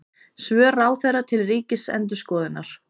Svör ráðherra til Ríkisendurskoðunar